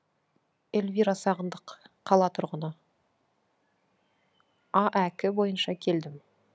эльвира сағындық қала тұрғыны аәк бойынша келдім